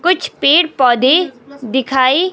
कुछ पेर पौधे दिखाई--